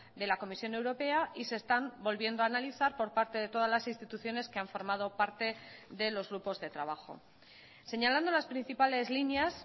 de la comisión europea y se están volviendo a analizar por parte de todas las instituciones que han formado parte de los grupos de trabajo señalando las principales líneas